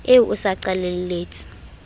eo o se o qalelletse